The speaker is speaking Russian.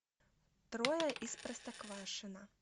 трое из простоквашино